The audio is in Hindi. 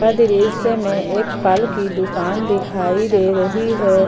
दृश्य में एक फल की दुकान दिखाई दे रही है।